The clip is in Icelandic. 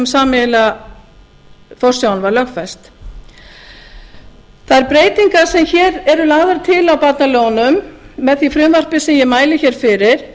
sameiginlega forsjáin var lögfest þær breytingar sem hér eru lagðar til á barnalögunum með því frumvarpi sem ég mæli hér fyrir